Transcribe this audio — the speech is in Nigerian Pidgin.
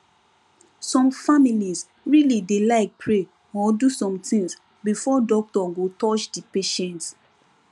some families really dey like pray or do some things before doctor go touch the patient